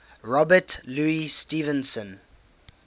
robert louis stevenson